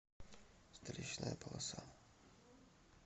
встречная полоса